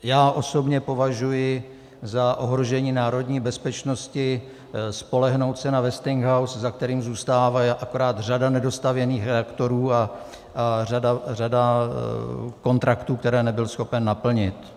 Já osobně považuji za ohrožení národní bezpečnosti spolehnout se na Westinghouse, za kterým zůstává akorát řada nedostavěných reaktorů a řada kontraktů, které nebyl schopen naplnit.